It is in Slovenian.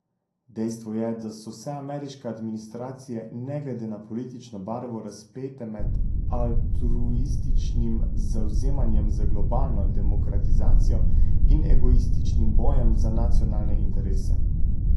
Dejstvo je, da so vse ameriške administracije ne glede na politično barvo razpete med altruističnim zavzemanjem za globalno demokratizacijo in egoističnim bojem za nacionalne interese.